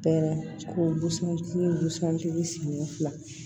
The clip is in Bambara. Pɛrɛn kosɔn k'i busan tigi siɲɛ fila